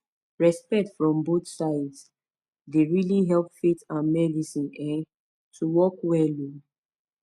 respect from both sides dey really help faith and medicine um to work well um